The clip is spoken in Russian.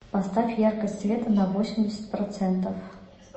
поставь яркость света на восемьдесят процентов